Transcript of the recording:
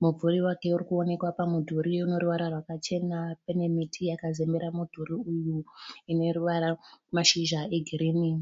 Mumvuri wake uri kuonekwa pamudhuri une ruvara rwakachena. Pane miti yakazembera mudhuri uyu ine mashizha egirini.